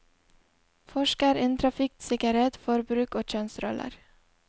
Forsker innen trafikksikkerhet, forbruk og kjønnsroller.